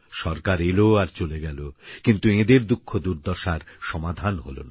সরকার এলো আর চলে গেলো কিন্তু এঁদের দুঃখ দুর্দশার সমাধান হলো না